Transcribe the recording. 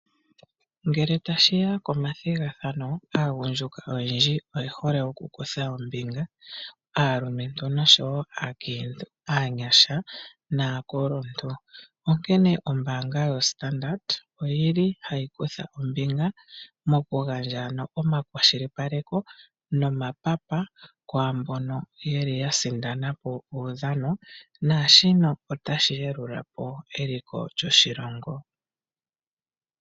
Ngele tashi ya komathigathano, aagundjuka oyendji oye hole okukutha ombinga, aalumentu oshowo aakiintu, aanyasha naakuluntu. Onkene ombaanga yoStandard ohayi kutha ombinga mokugandja omakwashilipaleko nomapapa kwaambono ya sindana po uudhano naashika otashi yambula po eliko lyoshilongo.